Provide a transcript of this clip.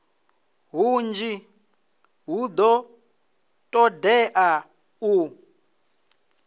hunzhi hu do todea u